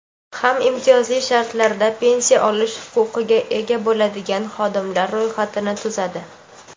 ham imtiyozli shartlarda pensiya olish huquqiga ega bo‘ladigan xodimlar ro‘yxatini tuzadi.